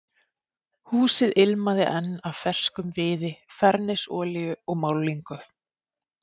Húsið ilmaði enn af ferskum viði, fernisolíu og málningu.